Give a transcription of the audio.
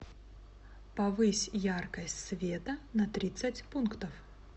повысь яркость света на тридцать пунктов